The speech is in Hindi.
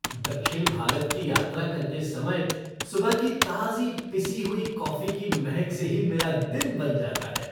दक्षिण भारत की यात्रा करते समय सुबह की ताज़ी पिसी हुई कॉफ़ी की महक से ही मेरा दिन बन जाता है।